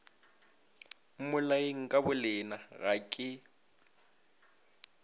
mmolayeng ka bolena ga ke